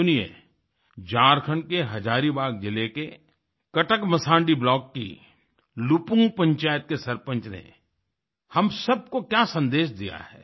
सुनिए झारखंड के हजारीबाग जिले के कटकमसांडी ब्लॉक की लुपुंग पंचायत के सरपंच ने हम सबको क्या सन्देश दिया है